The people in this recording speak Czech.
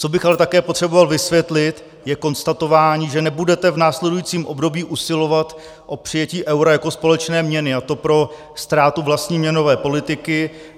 Co bych ale také potřeboval vysvětlit, je konstatování, že nebudete v následujícím období usilovat o přijetí eura jako společné měny, a to pro ztrátu vlastní měnové politiky.